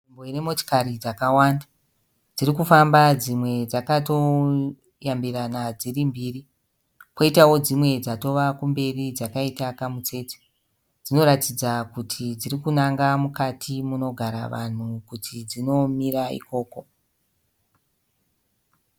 Nzvimbo ine motikari dzakawanda, dziri kufamba dzimwe dzakatoteverana dziri mbiri, koita dzimwe dzatova kumberi dzakaita mitsetse, dzinoratidza kuti dziri kunanga mukati munogara vanhu kuti dzinomira ikoko.